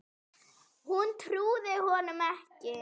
Hún trúði honum ekki.